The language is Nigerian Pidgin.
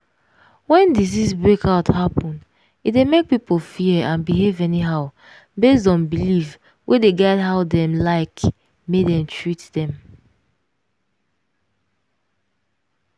when disease breakout happen e dey make people fear and behave anyhow based on belief wey dey guide how dem like make dem treat dem.